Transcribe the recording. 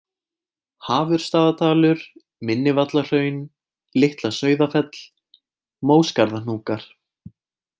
Hafursstaðadalur, Minnivallahraun, Litla-Sauðafell, Móskarðahnúkar